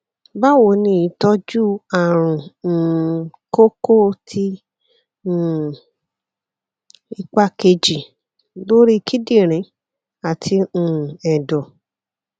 bawoni itoju arun um koko ti um ipa keji lori kidirin ati um edo